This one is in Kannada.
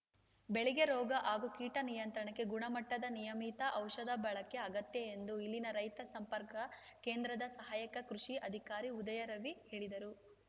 ಬೆಳೆಗೆ ರೋಗ ಹಾಗೂ ಕೀಟ ನಿಯಂತ್ರಣಕ್ಕೆ ಗುಣಮಟ್ಟದ ನಿಯಮಿತ ಔಷಧ ಬಳಕೆ ಅಗತ್ಯ ಎಂದು ಇಲ್ಲಿನ ರೈತ ಸಂಪರ್ಕ ಕೇಂದ್ರದ ಸಹಾಯಕ ಕೃಷಿ ಅಧಿಕಾರಿ ಉದಯರವಿ ಹೇಳಿದರು